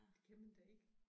Det kan man da ikke